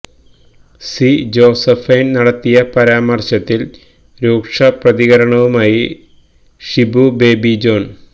C Josephine നടത്തിയ പരാമർശത്തിൽ രൂക്ഷ പ്രതികരണവുമായി ഷിബു ബേബി ജോൺ